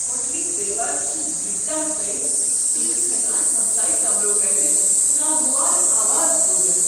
ہوٹلٕکۍ دیوار چِھ ییتیاہ تٔنۍ بہٕ چھس ہٮ۪کان ہمسایی کمرو پٮ۪ٹھ ناگوار آوازٕ بوزتھ۔